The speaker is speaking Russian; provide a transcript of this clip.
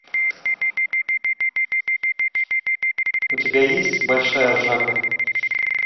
у тебя есть большая ржака